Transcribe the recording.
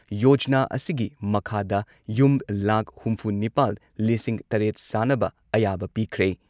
ꯌꯣꯖꯅꯥ ꯑꯁꯤꯒꯤ ꯃꯈꯥꯗ ꯌꯨꯝ ꯂꯥꯈ ꯍꯨꯝꯐꯨ ꯅꯤꯄꯥꯜ ꯂꯤꯁꯤꯡ ꯇꯔꯦꯠ ꯁꯥꯅꯕ ꯑꯌꯥꯕ ꯄꯤꯈ꯭ꯔꯦ ꯫